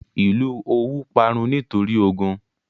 Ìlú Òwú parun nítorí ogun.